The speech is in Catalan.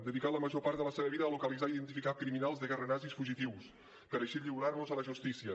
dedicà la major part de la seva vida a localitzar i identificar criminals de guerra nazis fugitius per així lliurar los a la justícia